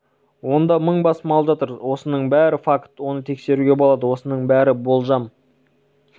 онда мың бас мал жатыр осының бәрі факт оны тексеруге болады осының бәрі болжам